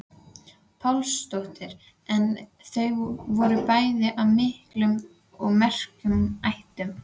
Pálsdóttir en þau voru bæði af miklum og merkum ættum.